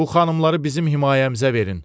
Bu xanımları bizim himayəmizə verin,